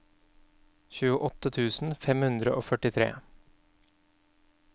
tjueåtte tusen fem hundre og førtitre